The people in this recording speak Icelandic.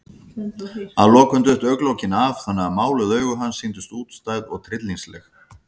Að lokum duttu augnalokin af, þannig að máluð augu hans sýndust útstæð og tryllingsleg.